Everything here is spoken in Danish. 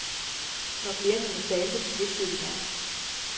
Når klienterne talte, hviskede de nærmest.